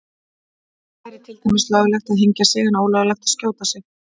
Það væri til dæmis löglegt að hengja sig en ólöglegt að skjóta sig.